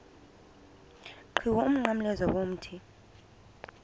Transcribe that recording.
qhiwu umnqamlezo womthi